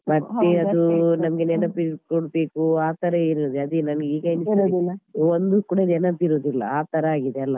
ಮತ್ತೆ ಅದು ನಮ್ಗೆ ನೆನಪಿಟ್ಕೋಬೇಕು ಆತರ ಏನು ಇಲ್ಲ ಅದೆ ನನ್ಗೆ ಈಗ ಅನಿಸ್ತದೆ ಒಂದು ಕೂಡ ನೆನಪಿರುದಿಲ್ಲ ಆತರ ಆಗಿದೆ ಅಲ.